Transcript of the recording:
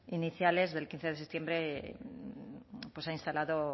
iniciales del quince de septiembre pues se ha instalado